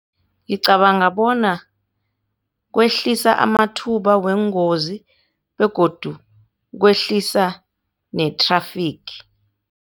Ngicabanga bona kwehlisa amathuba weengozi begodu kwehlisa ne-traffic.